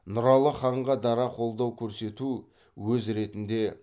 нұралы ханға дара қолдау көрсету өз ретінде